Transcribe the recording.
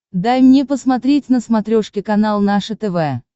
дай мне посмотреть на смотрешке канал наше тв